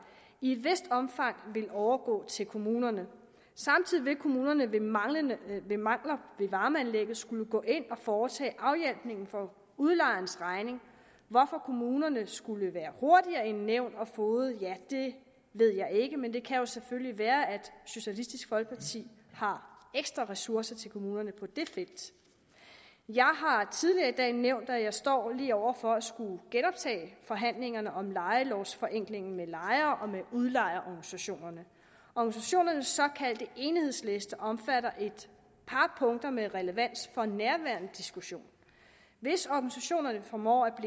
i et vist omfang vil overgå til kommunerne samtidig vil kommunerne ved mangler ved mangler ved varmeanlægget skulle gå ind og foretage afhjælpning for udlejerens regning hvorfor kommunerne skulle være hurtigere end nævn og foged ved jeg ikke men det kan jo selvfølgelig være at socialistisk folkeparti har ekstra ressourcer til kommunerne på det felt jeg har tidligere i dag nævnt at jeg står lige over for at skulle genoptage forhandlingerne om lejelovforenklingen med lejer og udlejerorganisationerne organisationernes såkaldte enhedsliste omfatter et par punkter med relevans for nærværende diskussion hvis organisationerne formår at